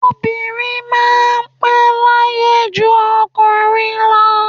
Obìnrin máa n pẹ́ láyé ju okùnrin lọ